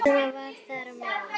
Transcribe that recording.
Selma var þar á meðal.